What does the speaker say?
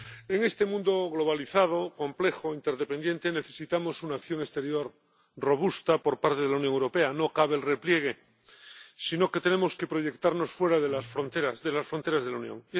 En este mundo globalizado, complejo e interdependiente, necesitamos una acción exterior robusta por parte de la Unión Europea no cabe el repliegue, sino que tenemos que proyectarnos fuera de las fronteras de la Unión.